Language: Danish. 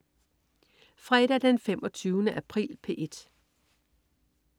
Fredag den 25. april - P1: